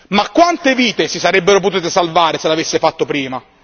Ma quante vite si sarebbero potute salvare se l'avesse fatto prima?